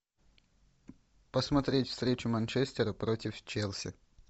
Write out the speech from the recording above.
посмотреть встречу манчестера против челси